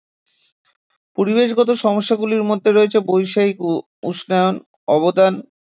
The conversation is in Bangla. পরিবেশগত সমস্যাগুলির মধ্যে রয়েছে বৈশ্বিক উষ্ণায়নের অবদান